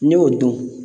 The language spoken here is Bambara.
N'i y'o dun